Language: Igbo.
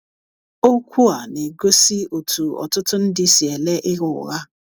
OKWU a na - egosi otú ọtụtụ ndị si ele ịgha ụgha